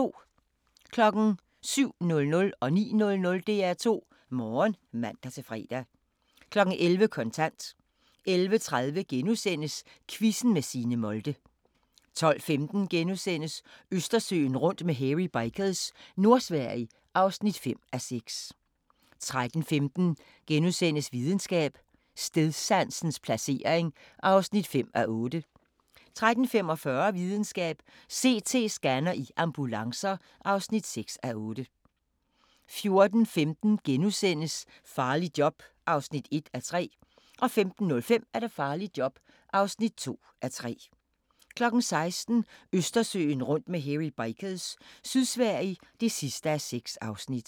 07:00: DR2 Morgen (man-fre) 09:00: DR2 Morgen (man-fre) 11:00: Kontant 11:30: Quizzen med Signe Molde * 12:15: Østersøen rundt med Hairy Bikers – Nordsverige (5:6)* 13:15: Videnskab: Stedsansens placering (5:8)* 13:45: Videnskab: CT-scanner i ambulancer (6:8) 14:15: Farligt job (1:3)* 15:05: Farligt job (2:3) 16:00: Østersøen rundt med Hairy Bikers – Sydsverige (6:6)